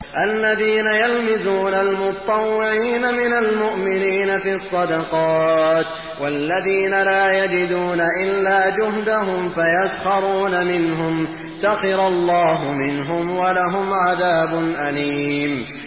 الَّذِينَ يَلْمِزُونَ الْمُطَّوِّعِينَ مِنَ الْمُؤْمِنِينَ فِي الصَّدَقَاتِ وَالَّذِينَ لَا يَجِدُونَ إِلَّا جُهْدَهُمْ فَيَسْخَرُونَ مِنْهُمْ ۙ سَخِرَ اللَّهُ مِنْهُمْ وَلَهُمْ عَذَابٌ أَلِيمٌ